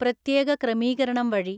പ്രത്യേക ക്രമീകരണം വഴി